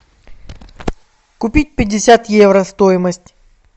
купить пятьдесят евро стоимость